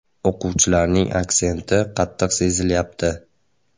“O‘quvchilarning aksenti qattiq sezilyapti”.